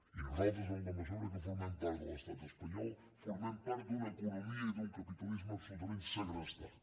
i nosaltres en la mesura que formem part de l’estat espanyol formem part d’una economia i d’un capitalisme absolutament segrestat